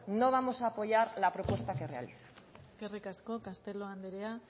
no vamos a apoyar la propuesta que realizan eskerrik asko castelo andrea